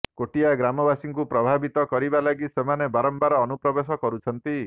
କୋଟିଆ ଗ୍ରାମବାସୀଙ୍କୁ ପ୍ରଭାବିତ କରିବା ଲାଗି ସେମାନେ ବାରମ୍ବାର ଅନୁପ୍ରବେଶ କରୁଛନ୍ତି